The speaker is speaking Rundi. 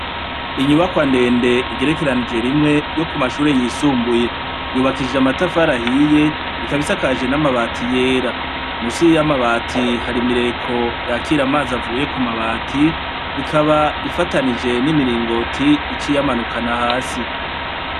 Inyubakwa ndende igerekeranijwe rimwe yo ku mashure yisumbuye. Yubakishije amatafari ahiye, ikaba isakaje n'amabati yera. Musi y'amabati, hari imireko yakira amazi avuye ku mabati, ikaba ifataniye n'imiringoti ica iyamanukana hasi.